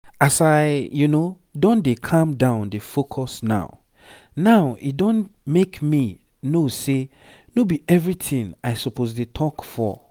as i don dey calm down dey focus now now e don make me know say no be everything i suppose dey talk for.